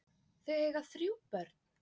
Þau eiga þrjú börn.